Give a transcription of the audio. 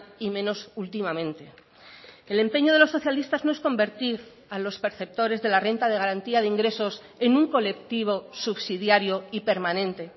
y menos últimamente el empeño de los socialistas no es convertir a los perceptores de la renta de garantía de ingresos en un colectivo subsidiario y permanente